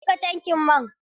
Eh zan cika tankin man.